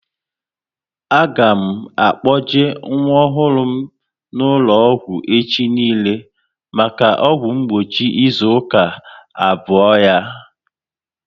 A ga m akpoje nwa ọhụrụ m n'ụlọ ọgwụ echi niile maka ọgwụ mgbochi ịzụ aka abụọ ya